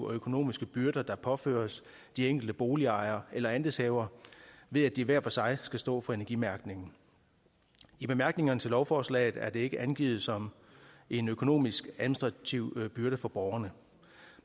og økonomiske byrder der påføres de enkelte boligejere eller andelshavere ved at de hver for sig skal stå for energimærkningen i bemærkningerne til lovforslaget er det ikke angivet som en økonomisk og administrativ byrde for borgerne